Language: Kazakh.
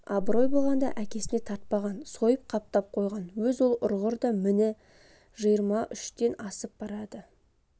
абырой болғанда әкесіне тартпаған сойып қаптап қойған өз ол құрғыр да міне жиырма үштен асып барады